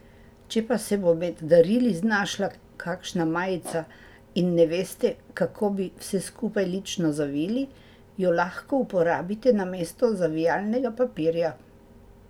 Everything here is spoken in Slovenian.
Če pa se bo med darili znašla kakšna majica in ne veste, kako bi vse skupaj lično zavili, jo lahko uporabite namesto zavijalnega papirja.